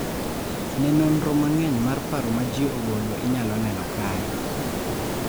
Ne nonro ma ng'eny mar paro ma ji ogolo inyalo neno kae.